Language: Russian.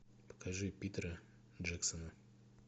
покажи питера джексона